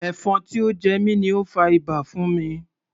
Ẹ̀fọn tí ó jẹ mi ni ó fa ibà fún mi.